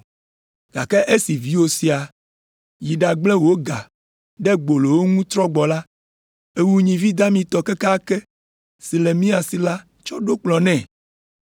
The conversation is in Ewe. Gake esi viwò sia yi ɖagblẽ wò ga ɖe gbolowo ŋu trɔ gbɔ la, èwu nyivi damitɔ kekeake si le mía si la tsɔ ɖo kplɔ̃e nɛ!’